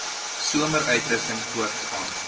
somer uitrusting voortgaan